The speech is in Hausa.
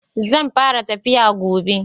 Zan fara tafiya gobe.